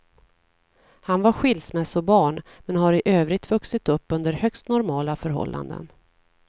Han var skilsmässobarn, men har i övrigt vuxit upp under högst normala förhållanden.